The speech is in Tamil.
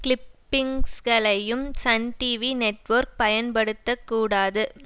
கிளிப்பிங்ஸ்களையும் சன் டிவி நெட்வொர்க் பயன்படுத்த கூடாது